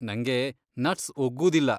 ನಂಗೆ ನಟ್ಸ್ ಒಗ್ಗೂದಿಲ್ಲ.